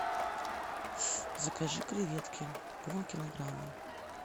закажи креветки полкилограмма